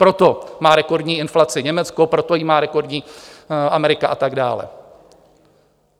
Proto má rekordní inflaci Německo, proto ji má rekordní Amerika a tak dále.